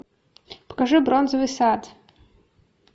покажи бронзовый сад